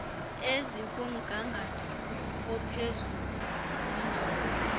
ezikumgangatho ophezulu yinjongo